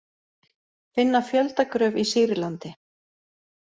Finna fjöldagröf í Sýrlandi